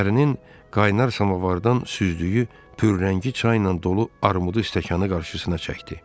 Pərinin qaynar samavardan süzdüyü pürrəngi çaynan dolu armudu stəkanı qarşısına çəkdi.